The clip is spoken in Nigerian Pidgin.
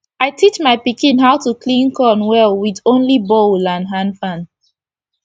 i teach my pikin how to clean corn wit only bowl and hand fan